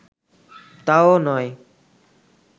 তাও নয়